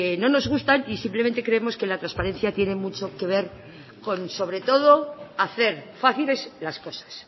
no nos gustan y simplemente creemos que la transparencia tiene mucho que ver con sobre todo hacer fáciles las cosas